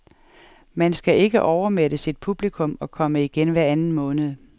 Man skal ikke overmætte sit publikum og komme igen hver anden måned.